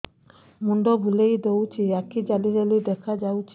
ମୁଣ୍ଡ ବୁଲେଇ ଦଉଚି ଆଖି ଜାଲି ଜାଲି ଦେଖା ଯାଉଚି